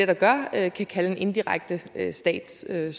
der gør kan kalde en indirekte statsstøtte